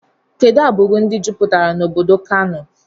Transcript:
Kedụ agburu ndị juputere n' obodo Kano?